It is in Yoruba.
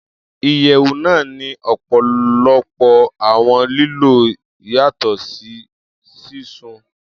Iyẹwu naa ni ọpọlọpọ awọn lilo yatọ si sisun.